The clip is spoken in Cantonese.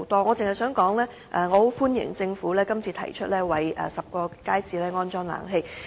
我只想說句，我歡迎政府這次提出為10個街市安裝冷氣。